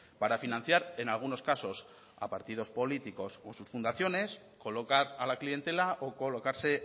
para financiar en algunos casos a partidos políticos o sus fundaciones colocar a la clientela o colocarse